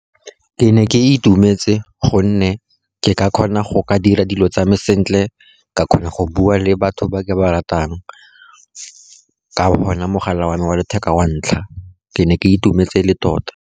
Ke ne ke itumetse, gonne ke ka kgona go ka dira dilo tsa me sentle, ka kgona go bua le batho ba ba ratang ka ona mogala wa me wa letheka wa ntlha. Ke ne ke itumetse le tota.